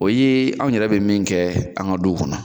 O ye anw yɛrɛ bi min kɛ, an ga duw kɔnɔ